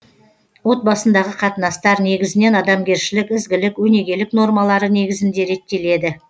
отбасындағы қатынастар негізінен адамгершілік ізгілік өнегелік нормалары негізінде реттеледі